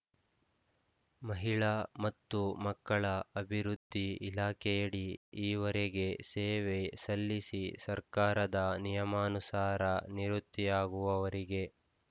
ಮಹಿಳಾ ಮತ್ತು ಮಕ್ಕಳ ಅಭಿವೃದ್ಧಿ ಇಲಾಖೆಯಡಿ ಈವರೆಗೆ ಸೇವೆ ಸಲ್ಲಿಸಿ ಸರ್ಕಾರದ ನಿಯಮಾನುಸಾರ ನಿವೃತ್ತಿಯಾಗುವರಿಗೆ